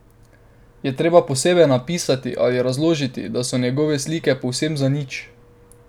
Je treba posebej napisati ali razložiti, da so njegove slike povsem zanič?